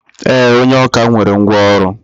E, onye ọkà nwere ngwá ọrụ.